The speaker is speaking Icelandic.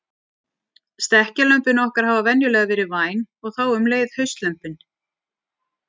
Stekkjarlömbin okkar hafa venjulega verið væn og þá um leið haustlömbin.